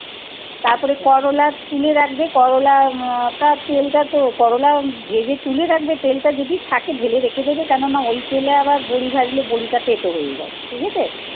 তারপরে করলা তুলে রাখবে করলা তার তেলটা তো। করলা ভেজে তুলে রাখবে তেলটা যদি থাকে ঢেলে রেখে দেবে কেননা ওই তেলে আবার বড়ি ভাজলে বড়িটা তেতো হয়ে যাবে। ঠিক আছে